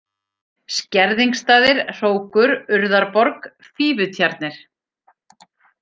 Skerðingsstaðir, Hrókur, Urðarborg, Fífutjarnir